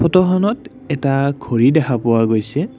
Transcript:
ফটোখনত এটা ঘড়ী দেখা পোৱা গৈছে।